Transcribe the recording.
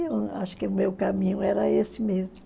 Eu acho que o meu caminho era esse mesmo.